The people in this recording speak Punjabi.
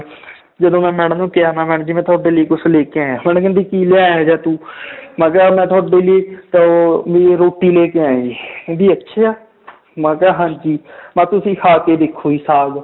ਜਦੋਂ ਮੈਂ madam ਨੂੰ ਕਿਹਾ ਮੈਂ madam ਜੀ ਤੁਹਾਡੇ ਲਈ ਕੁਛ ਲੈ ਕੇ ਆਇਆਂ madam ਕਹਿੰਦੀ ਕੀ ਲਿਆਇਆ ਇਹ ਜਿਹਾ ਤੂੰ ਮੈਂ ਕਿਹਾ ਮੈਂ ਤੁਹਾਡੇ ਲਈ ਤਾਂ ਉਹ ਵੀ ਰੋਟੀ ਲੈ ਕੇ ਆਇਆ ਜੀ ਕਹਿੰਦੀ ਅੱਛਾ ਮੈਂ ਕਿਹਾ ਹਾਂਜੀ ਮੈਂ ਕਿਹਾ ਤੁਸੀਂ ਖਾ ਕੇ ਦੇਖੋ ਜੀ ਸਾਘ